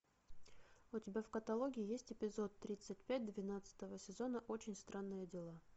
у тебя в каталоге есть эпизод тридцать пять двенадцатого сезона очень странные дела